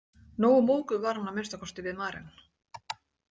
Nógu móðguð var hún að minnsta kosti við Maren.